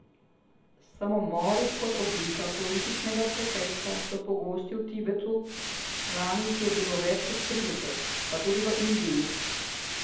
Samomori kot oblika političnega protesta so pogosti v Tibetu, lani jih je bilo več kot trideset, pa tudi v Indiji.